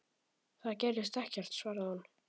Það gerðist ekkert, svaraði hún.